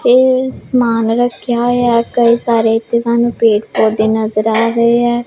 ਇਹ ਸਮਾਨ ਰੱਖਿਆ ਹੋਇਆ ਕਈ ਸਾਰੇ ਤੇ ਸਾਨੂੰ ਪੇੜ ਪੌਦੇ ਨਜ਼ਰ ਆ ਰਹੇ ਆ।